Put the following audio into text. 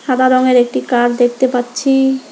সাদা রঙের একটি কার দেখতে পাচ্ছি।